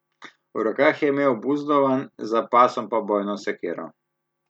V rokah je imel buzdovan, za pasom pa bojno sekiro.